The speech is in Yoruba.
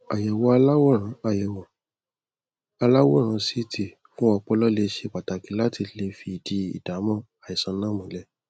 àyẹwò aláwòrán àyẹwò aláwòrán ct fún ọpọlọ lẹ ṣe pàtàkì láti lè fìdí ìdámọ àìsàn náà múlẹ